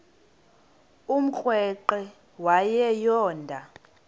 umrweqe wayo yoonda